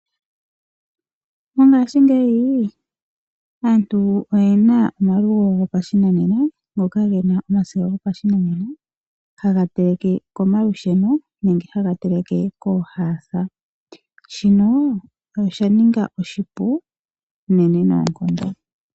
Ngaashingeyi aantu oyena omalugo gopashinanena goka gena omasiga gopashinanena haga teleke komalusheno nenge haga teleke koohasa. Shino osha ningi oshipu unene noonkondo.